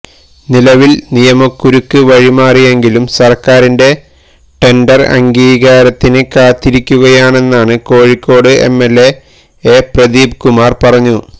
നിലവില് നിയമക്കുരുക്ക് വഴിമാറിയെങ്കിലും സര്ക്കാരിന്റെ ടെന്ഡര് അംഗീകാരത്തിന് കാത്തിരിക്കുകയാണെന്നാണ് കോഴിക്കോട് എംഎല്എ എ പ്രദീപ് കുമാര് പറഞ്ഞു